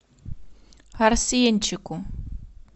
арсенчику